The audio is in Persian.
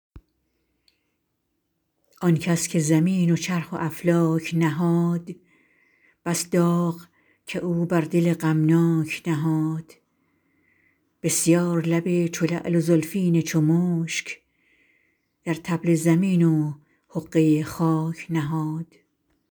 آن کس که زمین و چرخ و افلاک نهاد بس داغ که او بر دل غمناک نهاد بسیار لب چو لعل و زلفین چو مشک در طبل زمین و حقه خاک نهاد